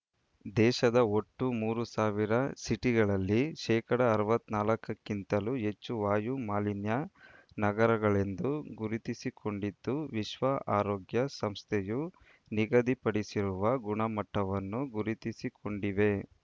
ದೇಶದ ಒಟ್ಟು ಮೂರು ಸಾವಿರ ಸಿಟಿಗಳಲ್ಲಿ ಶೇಕಡಾ ಅರವತ್ತ್ ನಾಲ್ಕಕ್ಕಿಂತಲೂ ಹೆಚ್ಚು ವಾಯು ಮಾಲಿನ್ಯ ನಗರಗಳೆಂದು ಗುರುತಿಸಿಕೊಂಡಿದ್ದು ವಿಶ್ವ ಆರೋಗ್ಯ ಸಂಸ್ಥೆಯು ನಿಗದಿಪಡಿಸಿರುವ ಗುಣಮಟ್ಟವನ್ನು ಗುರುತಿಸಿಕೊಂಡಿವೆ